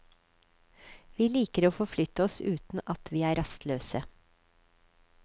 Vi liker å forflytte oss uten at vi er rastløse.